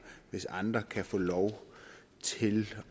hvis andre kan få lov til